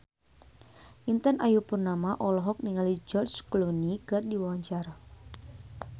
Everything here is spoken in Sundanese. Intan Ayu Purnama olohok ningali George Clooney keur diwawancara